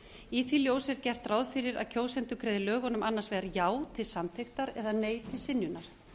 í því ljósi er gert ráð fyrir að kjósendur greiði lögunum annars vegar já til samþykktar eða nei til synjunar